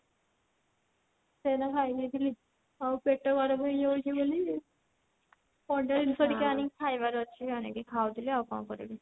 ସେଇଟା ଖାଇ ଦେଇଥିଲି ଆଉ ପେଟ ଗରମ ହେଇଯାଉଛି ବୋଲି ଥଣ୍ଡା ଜିନିଷ ଟିକେ ଆଣିକି ଖାଇବାର ଅଛି ଆଣିକି ଖାଉଥିଲି ଆଉ କଣ କରିବି